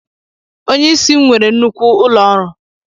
Onye isi m nwere nnukwu ụlọ ọrụ.